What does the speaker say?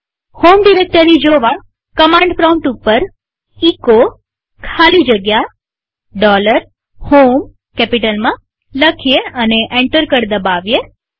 home directory જોવાકમાંડ prompt ઉપર echo ખાલી જગ્યા HOME કેપિટલમાં લખીએ અને એન્ટર કળ દબાવીએ